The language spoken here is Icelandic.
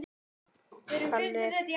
Hvert fer Stam?